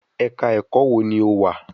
Ẹ̀ka ẹ̀kọ́ wo ni o wà?